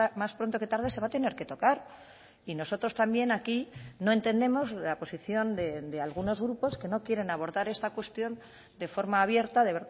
más pronto que tarde se va a tener que tocar y nosotros también aquí no entendemos la posición de algunos grupos que no quieren abordar esta cuestión de forma abierta de